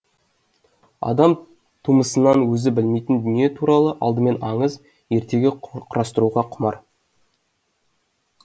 адам тумысынан өзі білмейтін дүние туралы алдымен аңыз ертегі құрастыруға құмар